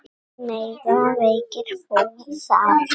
Mega veikir búa þar?